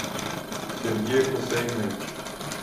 сергей хусаинович